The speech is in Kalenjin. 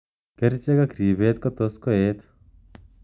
Kerchek ak ripeet ko tos koet.